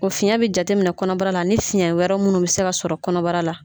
O fiyɛn bɛ jate minɛ kɔnɔbara la ani fiyɛn wɛrɛ munnu bɛ se ka sɔrɔ kɔnɔbara la.